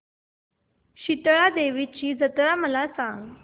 शितळा देवीची जत्रा मला सांग